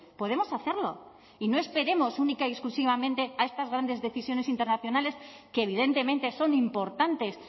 podemos hacerlo y no esperemos única y exclusivamente a estas grandes decisiones internacionales que evidentemente son importantes